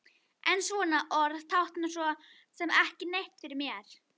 En svona orð tákna svo sem ekki neitt fyrir mér.